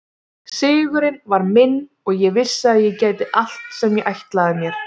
Sigurinn var minn og ég vissi að ég gæti allt sem ég ætlaði mér.